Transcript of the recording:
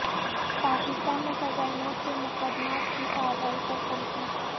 پاکستان میں سزائے موت کے مقدمات کی کارروائی پر تنقید